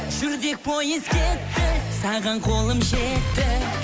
жүрдек пойыз кетті саған қолым жетті